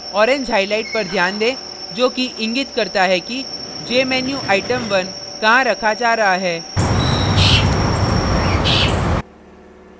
orange highlight पर ध्यान दें जो कि इंगित करता है कि jmenuitem1 कहाँ रखा जा रहा है